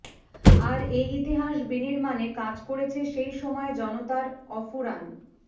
আর এ ইতিহাস বিনির্মাণে কাজ করেছে সেই সময়ের জনতার অফুরান